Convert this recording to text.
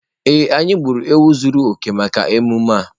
Ee, anyị gburu ewu zuru oke maka emume a.